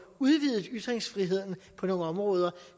udvidet ytringsfriheden på nogle områder